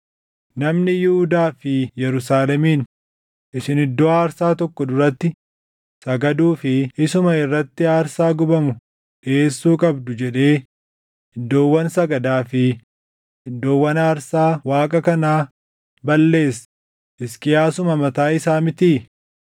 Namni Yihuudaa fi Yerusaalemiin, ‘Isin iddoo aarsaa tokko duratti sagaduu fi isuma irratti aarsaa gubamu dhiʼeessuu qabdu’ jedhee iddoowwan sagadaa fi iddoowwan aarsaa Waaqa kanaa balleesse Hisqiyaasuma mataa isaa mitii?